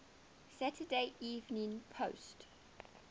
saturday evening post